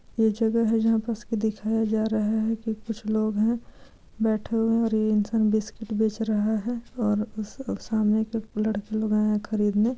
यह जगह है जहाँ पर दिखाया जा रहा है के कुछ लोग है बैठे हुए हैं। और ए इंसान बिस्किट बेच रहे है और उस सामने एक लड़के लोग आये है खरीदने।